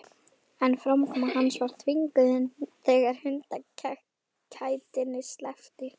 En framkoma hans var þvinguð þegar hundakætinni sleppti.